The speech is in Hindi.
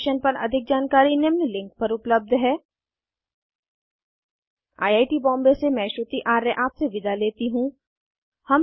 इस मिशन पर अधिक जानकारी निम्न लिंक पर उपलब्ध है httpspoken tutorialorgNMEICT Intro I I T Bombay से मैं श्रुति आर्य आपसे विदा लेती हूँ